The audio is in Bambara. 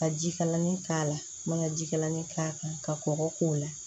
Ka jikalannin k'a la an man ga jikalan k'a kan ka kɔgɔ k'o la